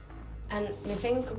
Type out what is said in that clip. en við fengum